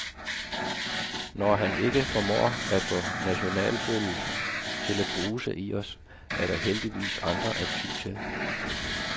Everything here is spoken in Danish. Når han ikke formår at få nationalfølelsen til at bruse i os, er der heldigvis andre at ty til.